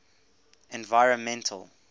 environmental